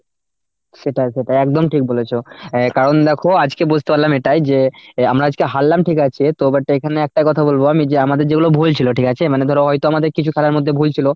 সেটাই সেটাই একদম ঠিক বলেছ। অ্যাঁ কারণ দেখো আজকে বুঝতে পারলাম এটাই যে আমরা আজকে হারলাম ঠিক আছে, তো but এইখানে একটা কথা বলব আমি যে আমাদের যেগুলো ভুল ছিল ঠিক আছে মানে ধরো হয়তো আমাদের কিছু খেলার মধ্যে ভুল ছিল,